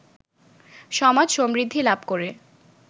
সমাজ সমৃদ্ধি লাভ করে